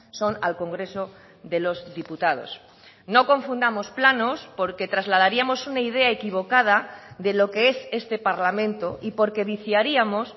son al congreso de los diputados no confundamos planos porque trasladaríamos una idea equivocada de lo que es este parlamento y porque viciaríamos